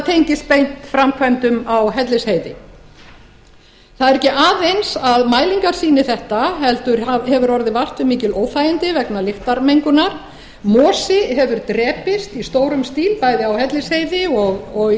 tengist beint framkvæmdum á hellisheiði það er ekki aðeins að mælingar sýni þetta heldur hefur orðið vart við mikil óþægindi vegna lyktarmengunar mosi hefur drepist í stórum stíl bæði á hellisheiði og í